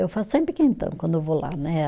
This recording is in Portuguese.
Eu faço sempre quentão quando eu vou lá, né?